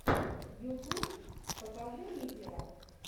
ютуб покажи лизера